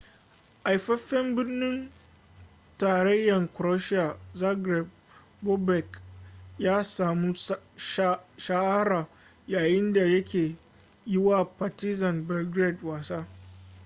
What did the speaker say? haifafen birnin tarayyan croatia zagreb bobek ya samu shahara yayinda yake yi wa partizan belgrade wasa